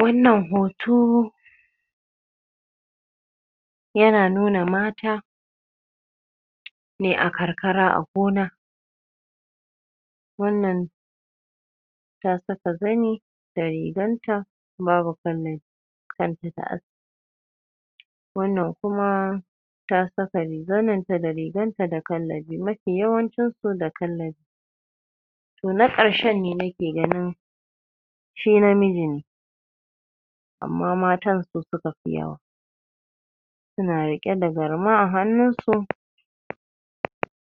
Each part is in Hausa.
Wannan ho too yana nuna mata ne a karkara gona wannan ta saka zani da rigar ta babu kallabi kan ta da aski wannan kumaa ta saka zanin ta da rigan ta da kallabi, mafi yawancin su da kallabi toh, na ƙarshen ne na ke ganin shi namiji ne amma matan su suka fi yawa suna riƙe da garma a hannun su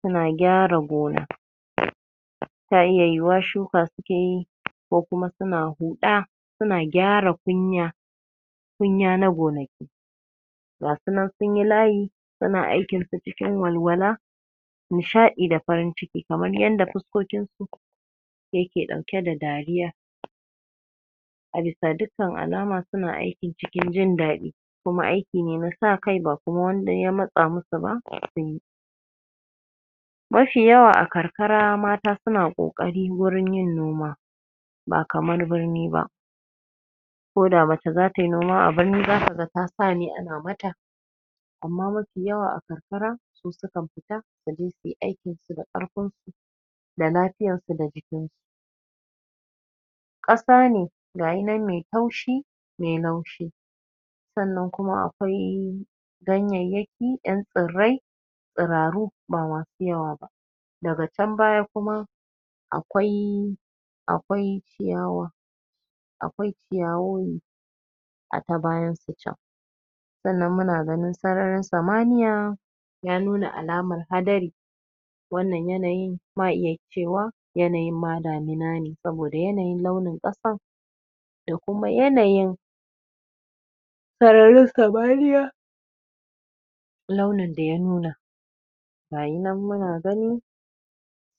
suna gyara gona ta iya yiyiwa shuka suke yi ko kuma suna huɗaa suna gyara kunyaa kunya na gonaki gasu nan sunyi layi suna aikin su cikin walwala nishaɗi da farin ciki kamar yadda fuskokin su yake ɗauke da dariya a bisa duk kan alama suna aiki cikin jin daɗi kuma ai aiki ne na sa kai ba kuma wanda ya ma tsa mu su ba suyi mafi yawa a kar kara mata suna ƙo ƙari wurin yin noma ba kamar birni ba ko da mace za tai noma a birni zaka ga ta sa ne ana mata amma mafi yawa a kar karaa su sukan fita su je suyi aikinsu da ƙarfinsu da lafiyansu da jikinsu ƙasa ne gayi nan mai taushi mai laushi sannan kuma a kwai ganyayya ki ƴan tsirrai tsiraaru ba masu yawa ba daga chan baya kuma akwaii akwai ciyawa akwai ciyawowi a ta bayan su chan sannan muna ganin sararin samaniya ya nuna alamar hadari wannan yanayin ma iya cewa yanayin ma damina ne saboda yanayin launin ƙasan da kuma yanayin sararin samaniya launin da ya nuna gayi nan muna gani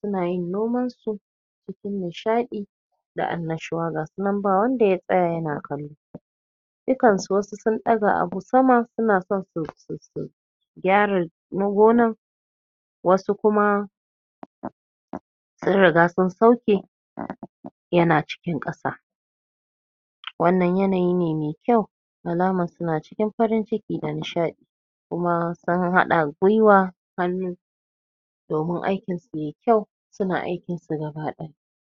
suna yin nomansu cikin nishaɗi da annashuwa ga su nan ba wanda ya tsaya yana kallon su dukansu wasu sun ɗaga abu sama suna son su gyara gonar wasu kuma sun ri ga sun sauke yana cikin ƙasa wannan yanayi ne mai kyau alaman suna cikin farin ciki da nishaɗi kuma sun haɗa gwiwa hannu domin aikinsu yayi kyau suna aikinsu gaba ɗaya.